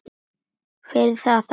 Fyrir það þakka ég henni.